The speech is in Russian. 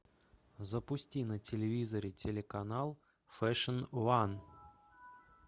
запусти на телевизоре телеканал фэшн ван